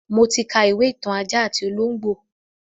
Mo ti ka ìwé ìtàn ajá àti ológbò